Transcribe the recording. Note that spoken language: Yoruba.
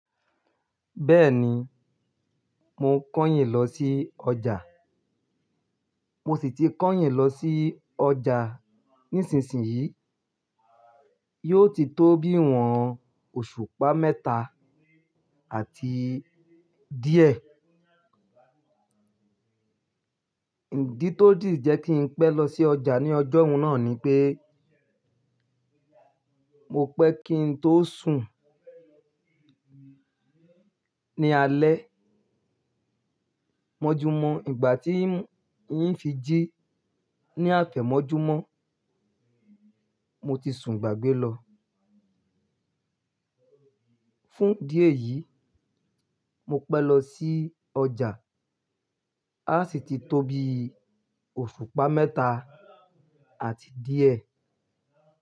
Bẹ́ẹ̀ni, mo kányìn lọ sí ọjà, mo sì ti kányìn lọ sí ọjà nísinsìnyí. Yóò ti tó bíi ìwọ̀n bi òṣùpá mẹ́ta àti díẹ̀. Ìdí tó dì jẹ́ kí n pẹ́ lọ sí ọjà ní ọjọ́un náà ni pé, mo pẹ́ kí n tó sùn ní alẹ́. Mọ́júmọ́ ìgbà tí n fi jí ní àfẹ̀mọ́júmọ́, mo ti sùn gbàgbé lọ. Fún idí eyìí, mo pẹ́ lọ sí ọjà. A sì ti tó bíi òṣùpá mẹ́ta àti díẹ̀.